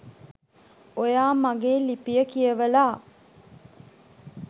ඔයා මගෙ ලිපිය කියවලා